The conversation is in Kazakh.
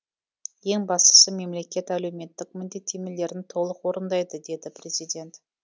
ең бастысы мемлекет әлеуметтік міндеттемелерін толық орындайды деді президент